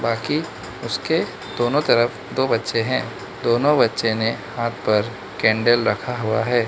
कि उसके दोनों तरफ दो बच्चे हैं दोनों बच्चे ने हाथ पर कैंडल रखा हुआ है।